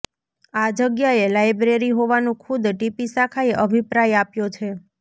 આ જગ્યાએ લાઈબ્રેરી હોવાનું ખુદ ટીપી શાખાએ અભિપ્રાય આપ્યો છે